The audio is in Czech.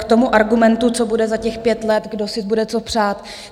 K tomu argumentu, co bude za těch pět let, kdo si bude co přát.